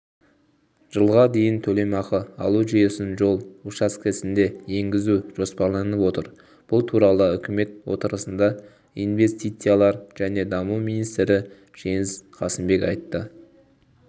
жылға дейін төлемақы алу жүйесін жол учаскесінде енгізу жоспарланып отыр бұл туралы үкімет отырысында инвестициялар және даму министрі жеңіс қасымбек айтты